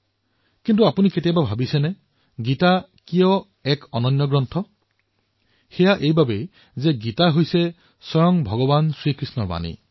কিন্তু আপোনালোকে কেতিয়াবা ভাবিছে নে গীতা কিয় এনে অদভূত গ্ৰন্থ এইবাবেই যে এয়া স্বয়ং ভগৱান শ্ৰীকৃষ্ণৰ বাণী